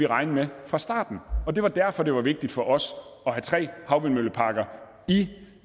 regne med fra starten og det var derfor det var vigtigt for os at have tre havvindmølleparker i